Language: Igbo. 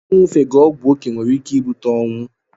Inyufega ogwu okee nwere ike ibute onwụ